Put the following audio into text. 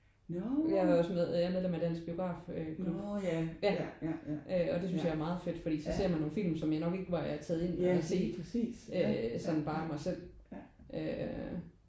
Jeg er også medlem jeg er medlem af Dansk Biografer klub. Ja og det synes jeg er meget fedt fordi så ser man nogle film som jeg nok ikke var taget ind og ville se sådan bare mig selv øh øh